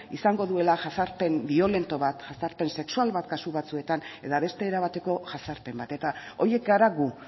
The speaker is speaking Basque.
izango duela jazarpen biolento bat jazarpen sexual bat kasu batzuetan eta beste era bateko jazarpen bat eta horiek gara gu